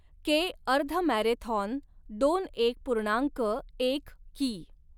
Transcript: के, अर्धमॅरेथॉन दोन एक पूर्णांक एक कि.